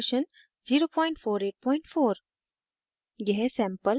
* inkscape version 0484